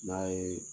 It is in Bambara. N'a ye